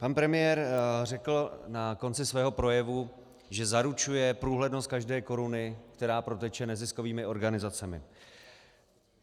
Pan premiér řekl na konci svého projevu, že zaručuje průhlednost každé koruny, která proteče neziskovými organizacemi.